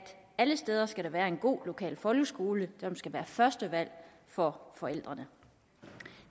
alle steder skal være en god lokal folkeskole som skal være førstevalg for forældrene